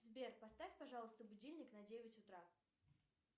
сбер поставь пожалуйста будильник на девять утра